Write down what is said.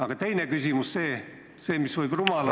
Aga teine küsimus, see, mis võib rumal olla ...